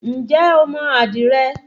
Ǹjẹ́ o mo àdìrẹ?